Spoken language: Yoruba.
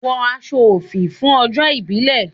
Wọ aṣọ òfì fún ọjọ́ ìbílè!